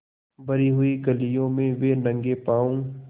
भरी हुई गलियों में वे नंगे पॉँव स्